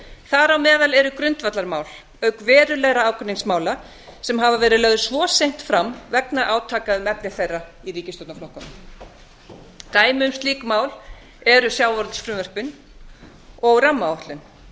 þar á meðal eru grundvallarmál auk verulegra ágreiningsmála sem hafa verið lögð svo seint fram vegna átaka um efni þeirra í ríkisstjórnarflokkunum dæmi um slík mál eru sjávarútvegsfrumvörpin og rammaáætlun